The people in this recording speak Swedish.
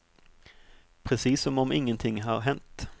Precis som om ingenting har hänt.